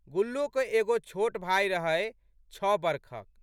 गुल्लोके एगो छोट भाय रहै छः बरखक।